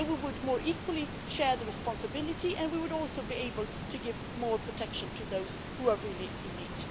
Then we would more equally share the responsibility and we would also be able to give more protection to those who are really in need.